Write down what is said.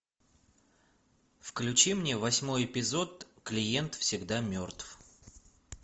включи мне восьмой эпизод клиент всегда мертв